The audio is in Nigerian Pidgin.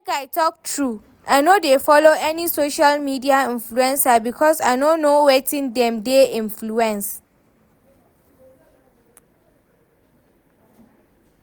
Make I talk true, I no dey follow any social media influencer because I no know wetin dem dey influence